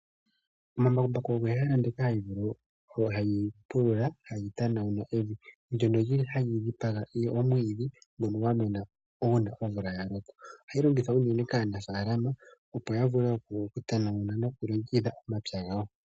Embakumbaku olyo oshiyenditho shoka hashi pulula moofaalama nenge momapya opo evi li wape oku kunwa. Oha li pulula unene uuna evi lya tuta opo lyi tetepo omwiidhi. Oha li longithwa unene kaanafaalama nosho woo kwaamboka ye na omapya opo evi li vule oku kunwa.